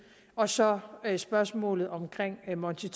og så er der spørgsmålet omkring monti